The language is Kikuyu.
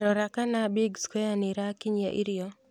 Rora kana big square nīrakinyia irio